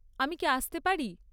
আমি কি আসতে পারি?